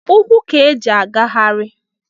ukwu ka eji agagharị